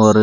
और